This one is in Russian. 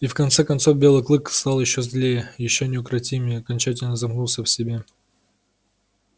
и в конце концов белый клык стал ещё злее ещё неукротимее и окончательно замкнулся в себе